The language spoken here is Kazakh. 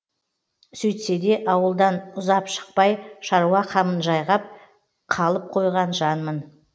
сөйтсе де ауылдан ұзап шықпай шаруа қамын жайғап қалып қойған жанмын